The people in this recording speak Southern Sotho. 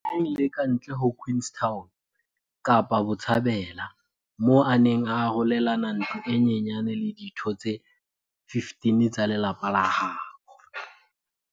neng le kantle ho Queenstown, Kapa Botjhabela, moo a neng a arolelana ntlo e nyenyane le ditho tse 15 tsa lelapa la habo.